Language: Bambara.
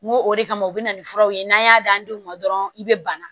N ko o de kama u bɛ na ni furaw ye n'an y'a d'an denw ma dɔrɔn i bɛ bana